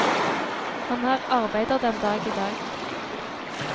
Han er arbeider den dag i dag.